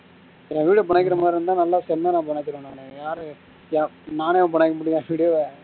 இப்போ நான video அ பிணைக்குற மாதிரி இருந்தா நல்லா செம்மையா பிணச்சிருவேன் நானு யாரையும் நானே பிணைக்க முடியும் என video ஆ